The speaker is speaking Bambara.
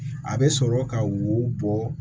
A bɛ sɔrɔ ka wo bɔ